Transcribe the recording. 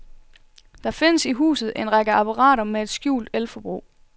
Der findes i huset en række apparater med et skjult el-forbrug.